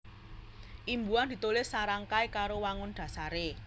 Imbuhan ditulis sarangkai karo wangun dhasaré